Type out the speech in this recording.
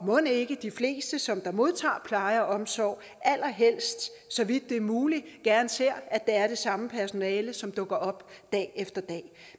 mon ikke de fleste som modtager pleje og omsorg allerhelst så vidt det er muligt gerne ser at det er det samme personale som dukker op dag efter dag